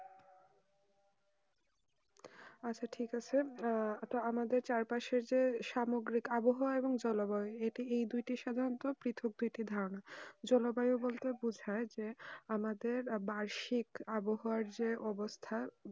আচ্ছা ঠিক আছে আমাদের চার পাশে যে সামগ্রিক আবহাওয়া এবং জলবায়ু এই দুটি সাধারণত পৃথক ধারণা জলবায়ু বলতে বোঝায় আমাদের বার্ষিক আবহাওয়া যে অবস্থা